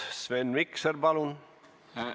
Sven Mikser, palun!